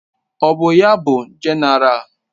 Ọ bụ ya bụ Jenéral?